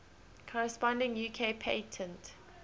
corresponding uk patent